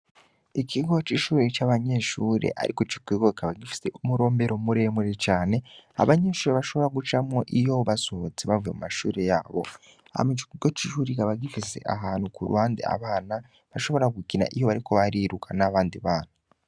Ikigo c'ishure c'abanyeshure ariko kikaba gifise umurombero muremure cane, abanyeshure bashobora gucamwo iyo basohotse bavuye mu mashure y'abo. Hama ico kigo c'ishure kikaba gifise ahantu k'uruhande abana bashobora gukina iyo bariko bariruka n'abandi bana.